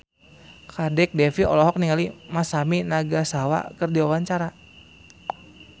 Kadek Devi olohok ningali Masami Nagasawa keur diwawancara